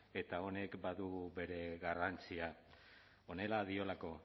eta honek badu bere garrantzia honela diolako